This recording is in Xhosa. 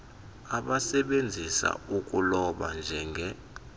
abasebenzisa ukuloba njenge